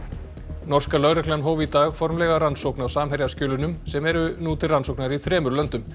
norska lögreglan hóf í dag formlega rannsókn á sem eru nú til rannsóknar í þremur löndum